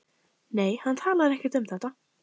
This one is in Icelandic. Nei, hann talar ekkert um þetta.